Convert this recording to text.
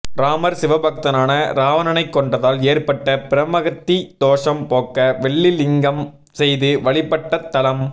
இராமர் சிவபக்தனான இராவணனைக் கொன்றதால் ஏற்பட்ட பிரமகத்தி தோஷம் போக்க வெள்ளிலிங்கம் செய்து வழிபட்டத் தலம்